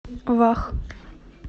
вах